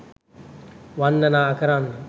වන්දනා කරන්න.